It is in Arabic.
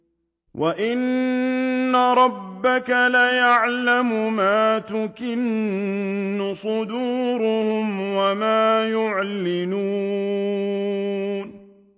وَإِنَّ رَبَّكَ لَيَعْلَمُ مَا تُكِنُّ صُدُورُهُمْ وَمَا يُعْلِنُونَ